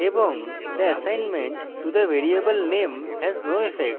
এবং the assignment to the variable name has no effect